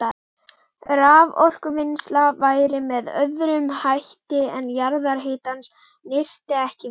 Raforkuvinnsla væri með öðrum hætti ef jarðhitans nyti ekki við.